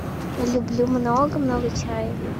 люблю много много чая